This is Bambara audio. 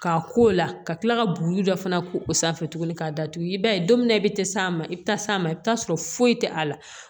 K'a ko la ka kila ka buguri dɔ fana ko o sanfɛ tuguni k'a datugu i b'a ye don min na i be te s'a ma i be taa s'a ma i bi taa sɔrɔ foyi tɛ a la